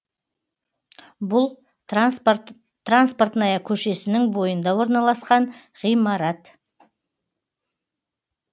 бұл транспортная көшесінің бойында орналасқан ғимарат